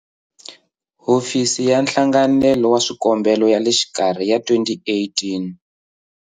Hofisi ya Nhlanganelo wa Swikombelo ya le Xikarhi ya 2018